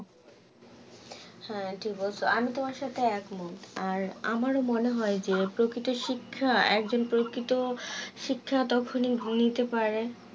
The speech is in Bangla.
হ্যাঁ ঠিক বলছো আমি তোমার সাথে এক মন আর আমার মনে হয় যে প্রকৃত শিক্ষা একজন প্রকৃত শিক্ষা তখনি ভুলিতে পারে